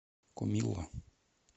комилла